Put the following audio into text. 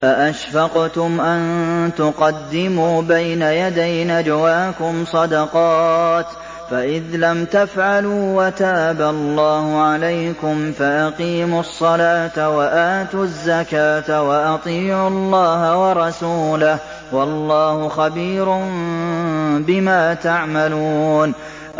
أَأَشْفَقْتُمْ أَن تُقَدِّمُوا بَيْنَ يَدَيْ نَجْوَاكُمْ صَدَقَاتٍ ۚ فَإِذْ لَمْ تَفْعَلُوا وَتَابَ اللَّهُ عَلَيْكُمْ فَأَقِيمُوا الصَّلَاةَ وَآتُوا الزَّكَاةَ وَأَطِيعُوا اللَّهَ وَرَسُولَهُ ۚ وَاللَّهُ خَبِيرٌ بِمَا تَعْمَلُونَ